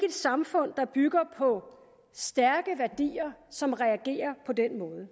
et samfund der bygger på stærke værdier som reagerer på den måde